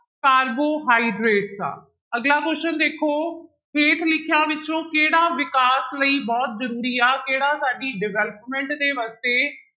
carbohydrates ਆ, ਅਗਲਾ question ਦੇਖੋ ਹੇਠ ਲਿਖਿਆਂ ਵਿੱਚੋਂ ਕਿਹੜਾ ਵਿਕਾਸ ਲਈ ਬਹੁਤ ਜ਼ਰੂਰੀ ਆ ਕਿਹੜਾ ਸਾਡੀ development ਦੇ ਵਾਸਤੇ